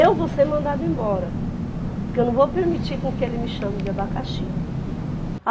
Eu vou ser mandada embora, porque eu não vou permitir com que ele me chame de abacaxi.